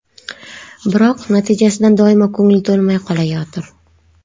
Biroq natijasidan doimo ko‘ngil to‘lmay qolayotir.